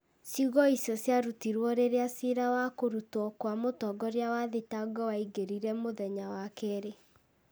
Ciugo icio ciarutirũo rĩrĩa ciira wa kũrutwo kwa mũtongoria wa thitango waingĩrire mũthenya wa kerĩ.